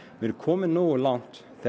við erum komin nógu langt þegar